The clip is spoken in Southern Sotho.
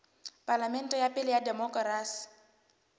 palamente ya pele ya demokerasi